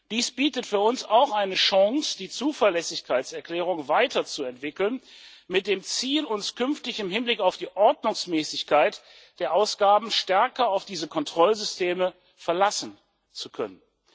Dies bietet für uns auch eine Chance, die Zuverlässigkeitserklärung mit dem Ziel weiterzuentwickeln, uns künftig im Hinblick auf die Ordnungsmäßigkeit der Ausgaben stärker auf diese Kontrollsysteme verlassen zu können.